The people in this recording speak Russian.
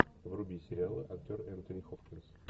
вруби сериалы актер энтони хопкинс